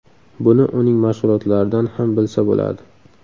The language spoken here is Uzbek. Buni uning mashg‘ulotlaridan ham bilsa bo‘ladi.